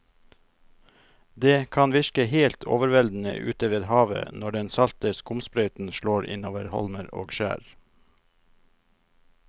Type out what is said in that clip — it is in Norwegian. Det kan virke helt overveldende ute ved havet når den salte skumsprøyten slår innover holmer og skjær.